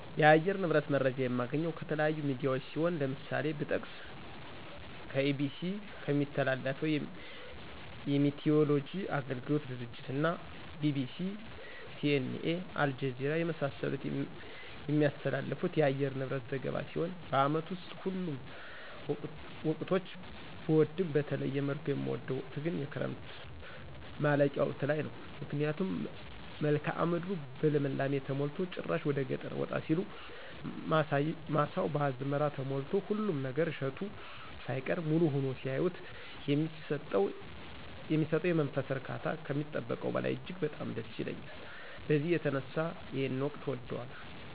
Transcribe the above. የአየር ንብረት መረጃ የማገኘው ከተለያዩ ሚዲያዎች ሲሆን ለምሳሌ ብጠቅስ EBC ከሚያስተላልፈው የሚቲይወሎጂ አገልግሎት ድርጅት እና BBC:CNA:አልጀዚራ የመሳሰሉት የሚያስተላልፉት የአየር ንብረት ዘገባ ሲሆን በአመት ውስጥ ሁሉንም ወቅቶች ብወድም በተለየ መልኩ የምወደው ወቅት ግን የክረምቱ ማለቂያ ወቅት ላይ ነው ምክንያቱም መልክአ ምድሩ በልምላሜ ተሞልቶ ጭራሽ ወደገጠር ወጣ ሲሉ ማሳው በአዝመራ ተሞልቶ ሁሉም ነገር እሸቱ ሳይቀር ሙሉ ሁኖ ሲያዩት የሚሰጠው የመንፈስ እርካታ ከሚጠበቀው በላይ እጅግ በጣም ደስ ይለኛል በዚህ የተነሳ ይሄን ወቅት እወደዋለሁ።